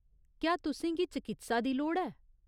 क्या तुसें गी चकित्सा दी लोड़ ऐ ?